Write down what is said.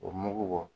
O mugu bɔ